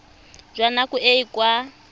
jwa nako e e ka